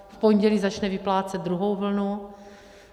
V pondělí začne vyplácet druhou vlnu.